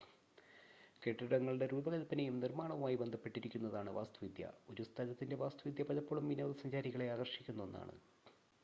കെട്ടിടങ്ങളുടെ രൂപകൽപ്പനയും നിർമ്മാണവുമായി ബന്ധപ്പെട്ടിരിക്കുന്നതാണ് വാസ്തുവിദ്യ ഒരു സ്ഥലത്തിൻ്റെ വാസ്തുവിദ്യ പലപ്പോഴും വിനോദസഞ്ചാരികളെ ആകർഷിക്കുന്ന ഒന്നാണ്